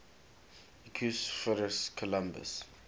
equus ferus caballus